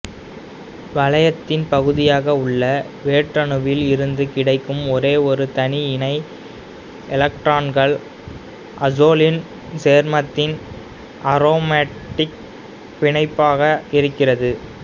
வளையத்தின் பகுதியாக உள்ள வேற்றணுவில் இருந்து கிடைக்கும் ஒரெயொரு தனி இணை எலக்ட்ரான்கள் அசோலின் சேர்மத்தின் அரோமாட்டிக் பிணைப்பாக இருக்கிறது